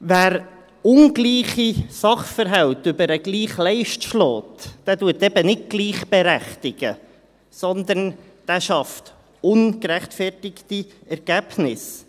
Wer ungleiche Sachverhalte über den gleichen Leisten schlägt, berechtigt eben nicht gleich, sondern schafft ungerechtfertigte Ergebnisse.